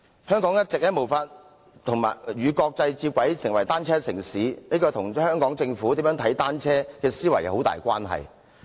香港一直無法與國際接軌，成為單車城市，這跟香港政府如何看待單車有莫大關係。